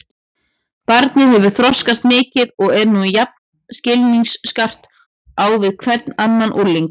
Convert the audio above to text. Barnið hefur þroskast mikið og er nú jafn skilningsskarpt á við hvern annan ungling.